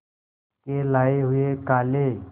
के लाए हुए काले